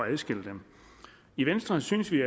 at adskille dem i venstre synes vi